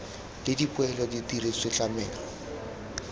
le dipoelo di diretswe tlamelo